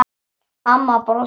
Amma brosti.